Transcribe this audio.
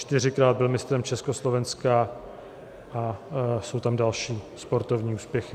Čtyřikrát byl mistrem Československa a jsou tam další sportovní úspěchy.